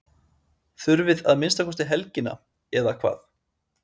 Heimir: Þurfið að minnsta kosti helgina eða hvað?